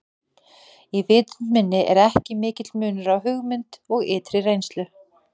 Í vitund minni er ekki mikill munur á hugmynd og ytri reynslu.